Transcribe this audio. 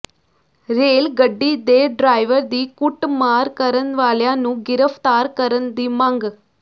rail ਗੱਡੀ ਦੇ driver ਦੀ ਕੁੱਟਮਾਰ ਕਰਨ ਵਾਲਿਆਂ ਨੂੰ ਗਿ੍ਫ਼ਤਾਰ ਕਰਨ ਦੀ ਮੰਗ